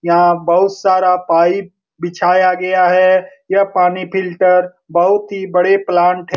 यहाँ बहुत सारा पाइप बिछाया गया है यह पानी फिल्टर बहुत ही बड़े प्लांट ह --